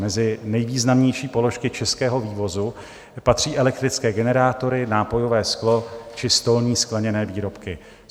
Mezi nejvýznamnější položky českého vývozu patří elektrické generátory, nápojové sklo či stolní skleněné výrobky.